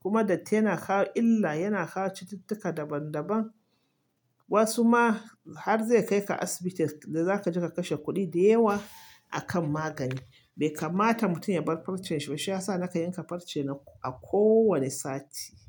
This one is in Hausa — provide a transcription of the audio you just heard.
kuma datti yana kawo illa, yana kawo cututtuka daban daban. Wasu ma har zai kai ka asibiti da za ka ji ka kashe kuɗi da yawa a kan magani. Bai kamata mutum ya bar farcen shi ba. Shiyasa nakan yanka farce na a kowane sati.